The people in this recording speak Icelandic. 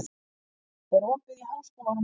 Salli, er opið í Háskólanum á Hólum?